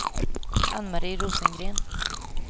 Anne-Marie Rosengren